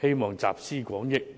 希望集思廣益。